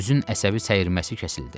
Üzün əsəbi səyirməsi kəsildi.